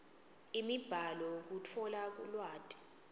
imibhalo kutfola lwati